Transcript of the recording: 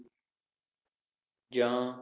ਜਾਂ